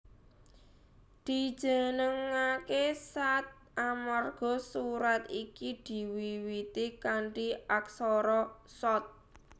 Dijenengaké Shaad amarga surat iki diwiwiti kanthi aksara Shaad